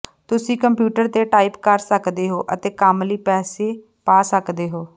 ਤੁਸੀਂ ਕੰਪਿਊਟਰ ਤੇ ਟਾਈਪ ਕਰ ਸਕਦੇ ਹੋ ਅਤੇ ਕੰਮ ਲਈ ਪੈਸੇ ਪਾ ਸਕਦੇ ਹੋ